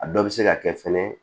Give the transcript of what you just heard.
A dɔ bɛ se ka kɛ fɛnɛ